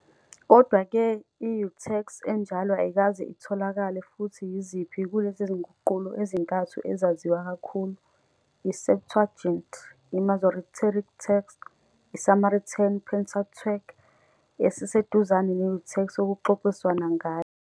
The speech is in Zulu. Kodwa-ke, i-Urtext enjalo ayikaze itholakale, futhi yiziphi kulezi nguqulo ezintathu ezaziwa kakhulu, i-Septuagint, i-Masoretic Text, i-Samaritan Pentateuch, esiseduzane ne-Urtext okuxoxiswana ngayo.